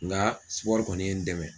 Nga kɔni ye n dɛmɛ.